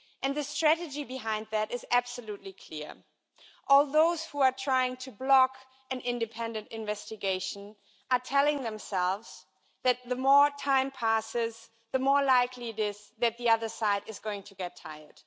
The strategy behind that is absolutely clear. All those who are trying to block an independent investigation are telling themselves that the more time passes, the more likely it is that the other side is going to get tired.